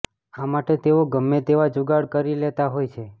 આ માટે તેઓ ગમે તેવા જુગાડ કરી લેતા હોય છે